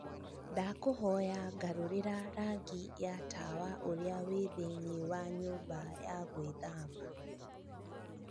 ndakũhoya garũrĩra rangi ya tawa urĩa wĩ thĩinĩ wa nyũmba ya gwĩthamba